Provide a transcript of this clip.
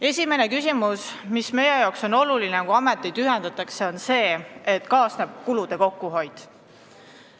Esimene küsimus, mis meie jaoks on oluline, kui ameteid ühendatakse, on see, et kaasneb kulude kokkuhoid.